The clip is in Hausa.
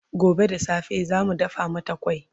gobe da safe zamu dafa mata kwai